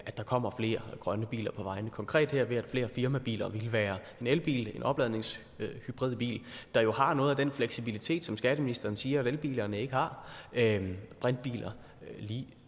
at der kommer flere grønne biler på vejene konkret her ved flere firmabiler og det kan være en elbil en opladningshybridbil der jo har noget af den fleksibilitet som skatteministeren siger at elbilerne ikke har brintbiler